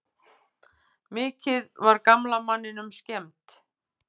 Mikið var gamla manninum skemmt.